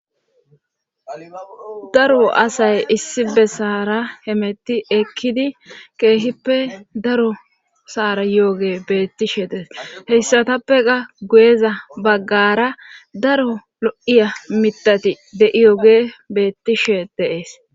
Daro asay issi bessara hemetti ekkidi keehippe daro saara yooge beettishe dees heyssatappe ga guyeza baggara daro lo7iya mitati de7iyooge beettishe deees